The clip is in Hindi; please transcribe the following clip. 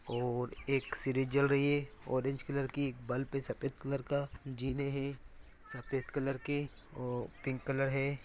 और एक सीरीज जल रही है ऑरेंज कलर की एक बल्ब है सफ़ेद कलर का जीने है सफ़ेद कलर के और पिंक कलर है।